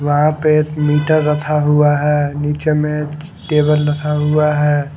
यहाँ पे नुतर रखा हुआ है नुचल में टेबल रखा हुआ है।